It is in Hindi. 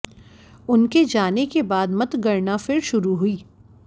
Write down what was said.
उनके जाने के बाद मतगणना फिर शुरू हुई